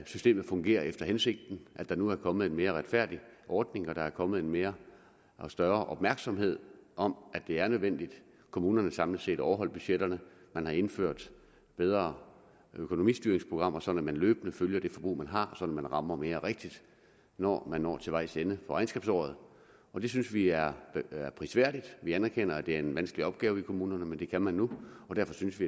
systemet fungerer efter hensigten at der nu er kommet en mere retfærdig ordning der er kommet mere og større opmærksomhed om at det er nødvendigt at kommunerne samlet set overholder budgetterne man har indført bedre økonomistyringsprogrammer sådan at man løbende følger det forbrug man har så man rammer mere rigtigt når man når til vejs ende regnskabsåret det synes vi er prisværdigt vi anerkender at det er en vanskelig opgave i kommunerne men det kan man nu og derfor synes vi